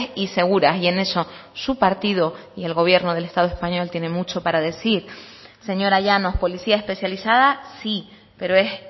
y seguras y en eso su partido y el gobierno del estado español tiene mucho para decir señora llanos policía especializada sí pero es